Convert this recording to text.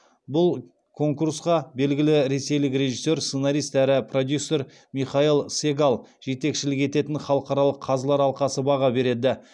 бұл конкурсқа белгілі ресейлік режиссер сценарист әрі продюсер михаил сегал жетекшілік ететін халықаралық қазылар алқасы баға береді